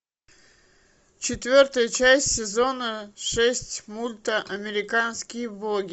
четвертая часть сезона шесть мульта американские боги